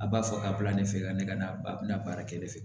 A b'a fɔ a bila ne fɛ ka ne ka na baara kɛ ne fɛ